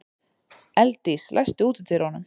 Elddís, læstu útidyrunum.